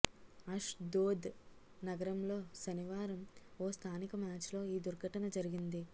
అశ్ దోద్ నగరంలో శనివారం ఓ స్థానిక మ్యాచ్లో ఈ దుర్ఘటన జరిగింది